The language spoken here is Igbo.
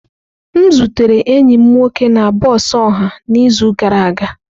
M zutere enyi m nwoke na bọs ọha n'izu gara aga.